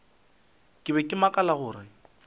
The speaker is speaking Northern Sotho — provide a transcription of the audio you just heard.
ke be ke makala gore